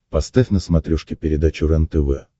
поставь на смотрешке передачу рентв